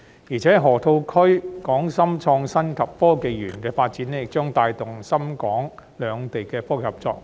此外，河套區港深創新及科技園發展亦將帶動深港兩地科技合作。